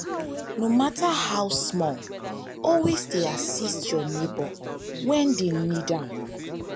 no mata how small always dey assist yur neibor um wem dey nid am.